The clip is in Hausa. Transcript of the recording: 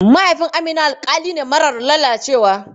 Mahaifin Amina alƙali ne marar lalacewa.